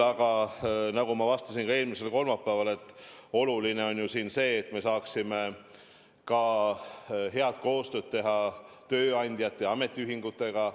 Aga nagu ma vastasin ka eelmisel kolmapäeval, oluline on see, et me saaksime teha head koostööd tööandjate ja ametiühingutega.